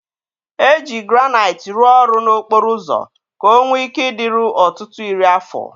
E jiri Granaịt rụọ ọrụ n'okporo ụzọ ka ọ nwee ike ịdịru ọtụtụ iri afọ.